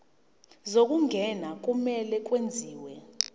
zokungena kumele kwenziwe